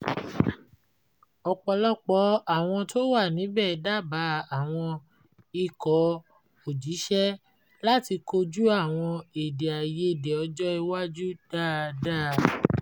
ọpọlọpọ àwọn tó wà níbẹ̀ dábàá àwọn ikọ̀-òjíṣẹ́ láti kojú àwọn èdè-àìyedè ọjọ́ iwájú dáadáa